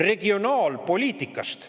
– regionaalpoliitikast.